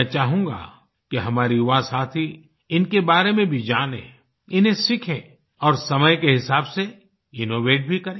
मैं चाहूँगा कि हमारे युवासाथी इनके बारे में भी जाने इन्हें सीखें और समय के हिसाब से इनोवेट भी करे